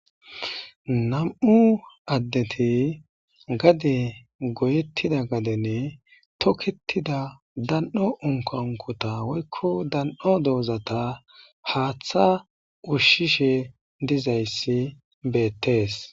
nam7u addeti gade goyettida gadenne toketida dan7o unkankota woykko dan7o doozata haaththa ushshishe dizayssi beettees